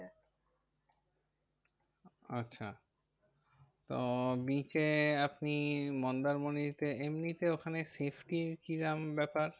আচ্ছা তো beach এ আপনি মন্দারমণিতে এমনিতে ওখানে safety র কিরাম ব্যাপার?